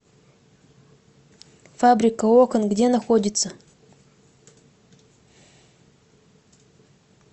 фабрика окон где находится